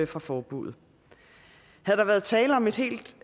fra forbuddet havde der været tale om et helt